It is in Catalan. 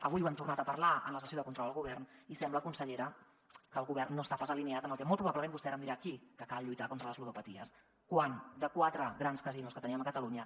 avui n’hem tornat a parlar en la sessió de control al govern i sembla consellera que el govern no està pas alineat amb el que molt probablement vostè ara em dirà aquí que cal lluitar contra les ludopaties quan de quatre grans casinos que tenim a catalunya